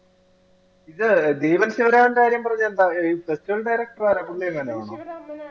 ഇത് ദീപക് ശിവരാമിന്റെ കാര്യം പറഞ്ഞതെന്താ? ഈ festival ൻറെ ഇടയ്ക്ക് പുള്ളിയെ കണ്ടായിരുന്നോ?